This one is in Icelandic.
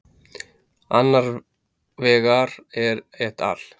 annar vegar er et al